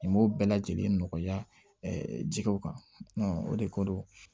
I m'o bɛɛ lajɛlen nɔgɔya jɛgɛw kan o de ko